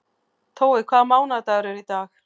Tói, hvaða mánaðardagur er í dag?